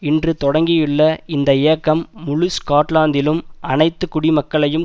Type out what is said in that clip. இன்று தொடங்கியுள்ள இந்த இயக்கம் முழு ஸ்காட்லாந்திலும் அனைத்து குடிமக்களையும்